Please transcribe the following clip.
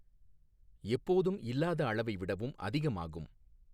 எப்போதும் இல்லாத அளவை விடவும் அதிகமாகும்.